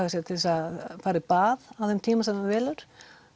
að segja til þess að fara í bað á þeim tíma sem það velur